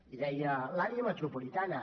i deia l’àrea metropolitana